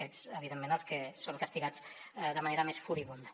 aquests evidentment els que són castigats de manera més furibunda